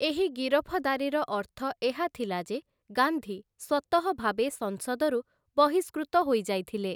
ଏହି ଗିରଫଦାରିର ଅର୍ଥ ଏହା ଥିଲା ଯେ ଗାନ୍ଧୀ ସ୍ଵତଃ ଭାବେ ସଂସଦରୁ ବହିଷ୍କୃତ ହୋଇଯାଇଥିଲେ ।